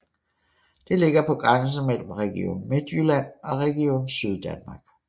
Det ligger på grænsen mellem Region Midtjylland og Region Syddanmark